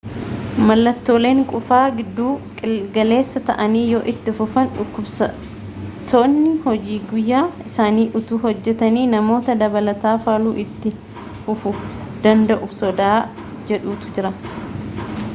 mallattooleen qufaa gidduu galeessa ta'anii yoo itti fufan dhukkubsattoonni hojii guyyuu isaanii utuu hojjetanii namoota dabalataa faaluu itti fufuu danda'u sodaa jedhutu jira